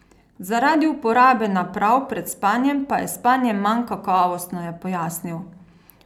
Zaradi uporabe naprav pred spanjem pa je spanje manj kakovostno, je pojasnil.